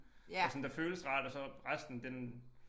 Der sådan der føles rart og så resten den